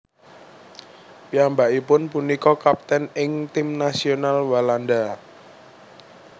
Piyambakipun punika kaptèn ing tim nasional Walanda